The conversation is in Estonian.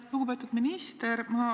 Lugupeetud minister!